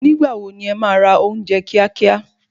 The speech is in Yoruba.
Nígbà wo ni e ma ra ounje kíá kíá?